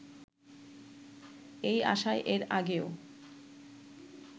এই আশায় এর আগেও